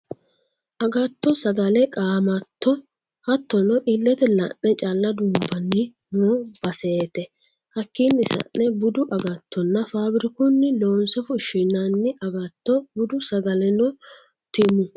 Agatto sagale qaamatto hattono ilete la'ne calla duumbanni no basete hakkini sa'ne budu agattonna faabirikunni loonse fushinanni agatto, budu sagaleno timu